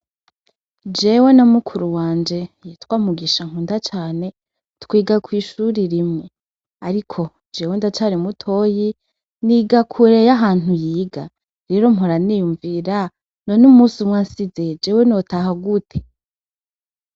Jewe na mukuru wanje yitwa Mugisha nkunda Cane, twiga kwishure rimwe ,ariko jewe ndacari mutoyi, niga kure yahantu yiga, rero mpora niyumvira none umusumwe ansize jewe notaha gute ?